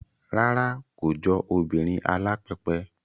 Rárá, kò jọ obìnrin alápẹpẹ